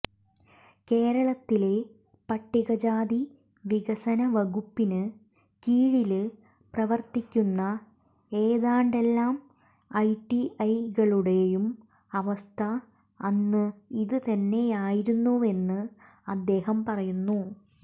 കേരളത്തിലെ പട്ടികജാതി വികസന വകുപ്പിന് കീഴില് പ്രവര്ത്തിക്കുന്ന ഏതാണ്ടെല്ലാ ഐടിഐകളുടെയും അവസ്ഥ അന്ന് ഇത് തന്നെയായിരുന്നുവെന്ന് അദ്ദേഹം പറയുന്നു